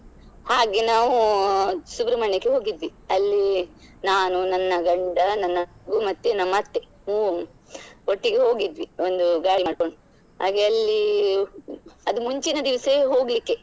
ಹಾಗೆ ನಾವು ಸುಬ್ರಮಣ್ಯಕ್ಕೆ ಹೋಗಿದ್ವಿ ಅಲ್ಲಿ ನಾನು, ನನ್ನ ಗಂಡ, ನನ್ನ ನಮ್ಮ ಅತ್ತೆ ಒಟ್ಟಿಗೆ ಹೋಗಿದ್ವಿ ಒಂದು ಗಾಡಿ ಮಾಡ್ಕೊಂಡು ಹಾಗೆ ಅಲ್ಲಿ ಅದು ಮುಂಚಿನ ದಿವಸವೇ ಹೋಗ್ಲಿಕ್ಕೆ.